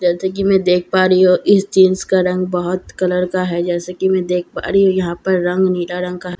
जैसे कि मैं देख पा रही हूं इस जीन्‍स का रंग बहुत कलर का है जैसे कि मैं देख पा रही हूं यहां पर रंग नीला रंग का है और काले --